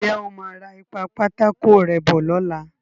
Ǹ jẹ́ o máa ra ìpa-pátákó-rẹ́ bọ̀ lọ́la.